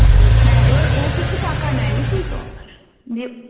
হ্যাঁ এবার ও কিছু টাকা নেয় বুঝলি তো দিয়ে